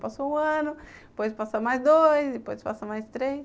Passa um ano, depois passa mais dois, depois passa mais três.